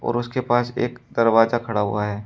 और उसके पास एक दरवाजा खड़ा हुआ है।